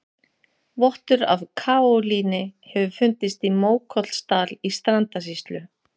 Vottur af kaólíni hefur fundist í Mókollsdal í Strandasýslu.